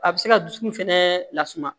A bɛ se ka dusukun fɛnɛ lasumaya